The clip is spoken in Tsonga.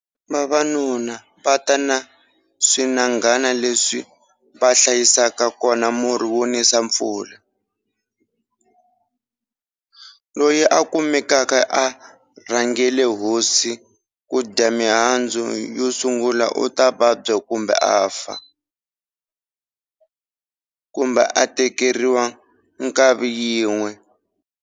Vavanuna va ta na swinangana leswi va hlayisaka kona murhu wo nisa mpfula. Loyi a kumekaka a rhangele hosi kudya mihandzu yo sungula uta vabya kumbe afa, kumbe a tekeriwa nkavi yin'we.